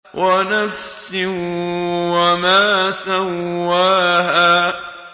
وَنَفْسٍ وَمَا سَوَّاهَا